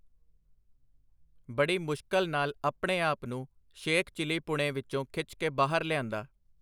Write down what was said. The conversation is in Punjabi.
ਬੜੀ ਮੁਸ਼ਕਲ ਨਾਲ ਆਪਣੇ ਆਪ ਨੂੰ ਸ਼ੇਖ-ਚਿੱਲੀਪੁਣੇ ਵਿਚੋਂ ਖਿਚ ਕੇ ਬਾਹਰ ਲਿਆਂਦਾ.